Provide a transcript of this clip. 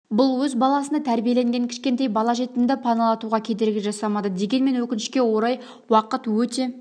бұл өз баласындай тәрбиелеген кішкентай бала жетімді паналатуға кедергі жасамады дегенмен өкінішке орай уақыт өте